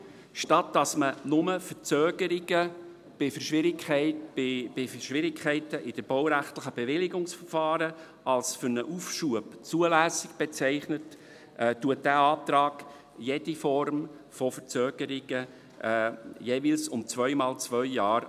Statt dass man nur Verzögerungen bei Schwierigkeiten in den baurechtlichen Bewilligungsverfahren als für einen Aufschub zulässig bezeichnet, akzeptiert dieser Antrag jede Form von Verzögerung jeweils um zweimal zwei Jahre.